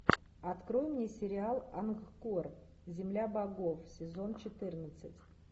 открой мне сериал ангкор земля богов сезон четырнадцать